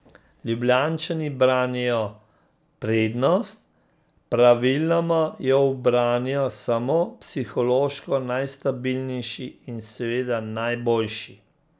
Ljubljančani branijo prednost, praviloma jo ubranijo samo psihološko najstabilnejši in seveda najboljši.